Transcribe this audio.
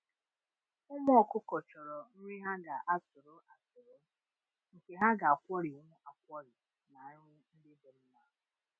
Ụmụ ọkụkọ chọrọ nri ha ga-atụrụ atụrụ, nke ha ga-akwọrịnwu akwọrị na nri ndị dị mma